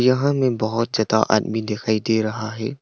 यहां में बहुत ज़्यादा आदमी दिखाई दे रहा है।